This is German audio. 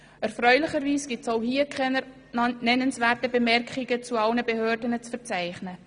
Erfreulicherweise gibt es auch hierzu keine nennenswerten Bemerkungen bei allen Behörden zu verzeichnen.